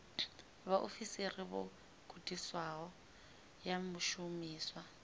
vhaofisiri vho gudisiwaho ya shumiswa